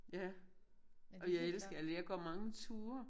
Ja og jeg elsker eller jeg går mange ture